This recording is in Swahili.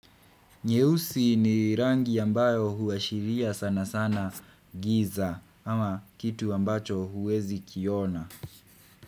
Nyeusi ni rangi ambayo huashiria sana sana giza ama kitu ambacho huwezi kiona.